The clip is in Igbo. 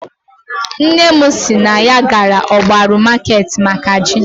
Nne m si na ya gara ogbaru market maka ji